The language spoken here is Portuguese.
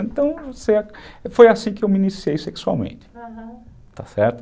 Então, foi assim que eu me iniciei sexualmente, aham, está certo?